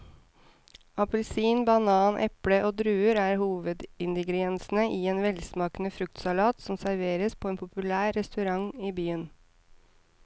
Appelsin, banan, eple og druer er hovedingredienser i en velsmakende fruktsalat som serveres på en populær restaurant i byen.